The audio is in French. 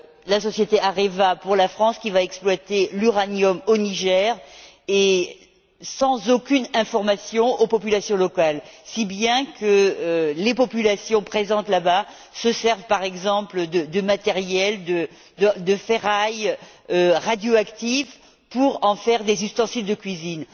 la société Areva pour la France, qui va exploiter l'uranium au Niger, sans donner aucune information aux populations locales, si bien que les populations présentes là bas se servent, par exemple, de matériels ou de ferraille radioactifs pour en faire des ustensiles de cuisine.